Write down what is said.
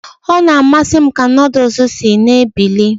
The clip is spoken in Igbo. Ọ na-amasị m ka nudu si na-ebili.